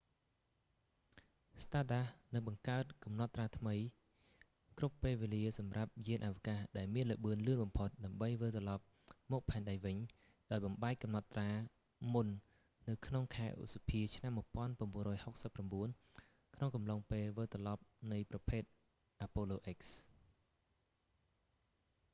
stardust នឹងបង្កើតកំណត់ត្រាថ្មីគ្រប់ពេលវេលាសម្រាប់យានអវកាសដែលមានល្បឿនលឿនបំផុតដើម្បីវិលត្រឡប់មកផែនដីវិញ ដោយបំបែកកំណត់ត្រាមុននៅក្នុងខែឧសភាឆ្នាំ1969 ក្នុងអំឡុងពេលវិលត្រឡប់នៃប្រភេទ apollo x